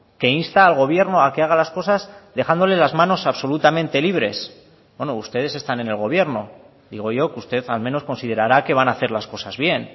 que insta al gobierno a que haga las cosas dejándole las manos absolutamente libres bueno ustedes están en el gobierno digo yo que usted al menos considerará que van a hacer las cosas bien